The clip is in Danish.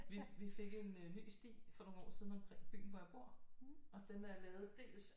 Vi fik en ny sti for nogle år siden omkring byen hvor jeg bor og den er lavet dels